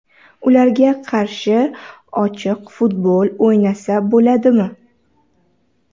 Ularga qarshi ochiq futbol o‘ynasa bo‘ladimi?